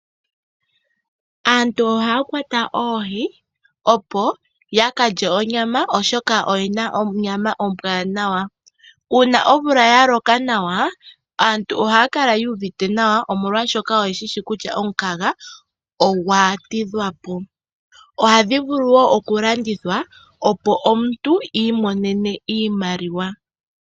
Aantu ohaya kwata oohi, opo ya ka lye onyama, oshoka odhi na onyama ombwaanawa. Uuna omvula ya loka nawa, aantu ohaya kala yu uvite nawa molwashoka oye shi shi kutya omukaga ogwa tidhwa po. Ohadhi vulu wo okulandithwa, opo omuntu i imonene iimaliwa.